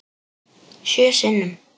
Sjö sinnum.